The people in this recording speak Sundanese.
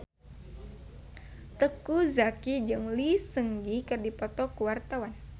Teuku Zacky jeung Lee Seung Gi keur dipoto ku wartawan